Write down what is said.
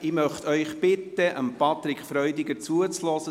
– Ich möchte Sie bitten, Patrick Freudiger zuzuhören.